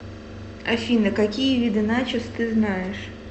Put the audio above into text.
афина какие виды начос ты знаешь